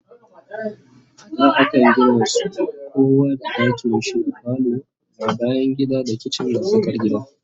A da Akan Gina su kowa da dakinshinda falo amma bayangida da kitchen na tsakar gida